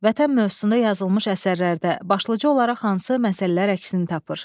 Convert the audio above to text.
Vətən mövzusunda yazılmış əsərlərdə başlıca olaraq hansı məsələlər əksini tapır?